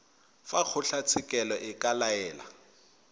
fa kgotlatshekelo e ka laela